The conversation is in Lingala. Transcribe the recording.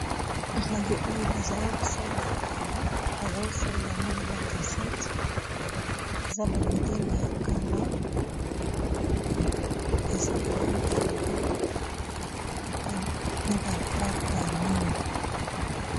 Radio oyo bazalaki kosalela kala bazalaki kosalela yango na ba cassette eza ba midele ya kala eza na langi ya mbwe pe na ba bafle ya mwindu.